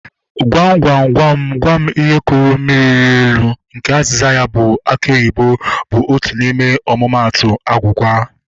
Gwam gwam gwam gwam ihe kụrụ mmiri rịa elu nke azịza ya bụ aki oyibo bụ otu n'ime omumatu agwugwa